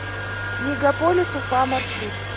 мегаполис уфа маршрут